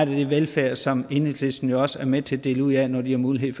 det velfærd som enhedslisten også er med til at dele ud af når de har mulighed